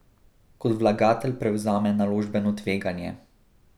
Kot vlagatelj prevzame naložbeno tveganje.